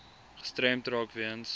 gestremd raak weens